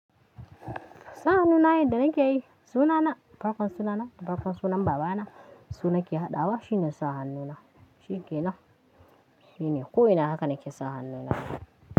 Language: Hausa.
Sahanu na yadda nake yi? Sunana, farkon sunana da farkon sunan baba na, su nake haɗawa shine sahanu na. Shine kenan. Shine, ko ina haka nake sahanu na.